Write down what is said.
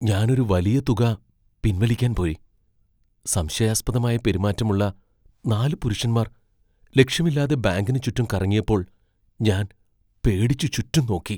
ഞാൻ ഒരു വലിയ തുക പിൻവലിക്കാൻ പോയി, സംശയാസ്പദമായ പെരുമാറ്റമുള്ള നാല് പുരുഷന്മാർ ലക്ഷ്യമില്ലാതെ ബാങ്കിന് ചുറ്റും കറങ്ങിയപ്പോൾ ഞാൻ പേടിച്ച് ചുറ്റും നോക്കി.